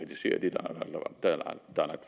der er